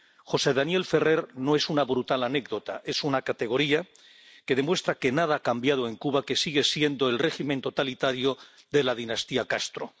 José Daniel Ferrer no es una brutal anécdota. Es una categoría que demuestra que nada ha cambiado en Cuba, que sigue siendo el régimen totalitario de la dinastía Castro.